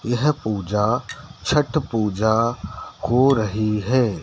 यह पूजा छठ पूजा हो रही हैं।